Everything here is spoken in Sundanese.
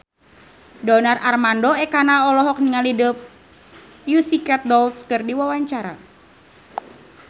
Donar Armando Ekana olohok ningali The Pussycat Dolls keur diwawancara